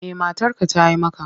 Me matarka ta yi maka?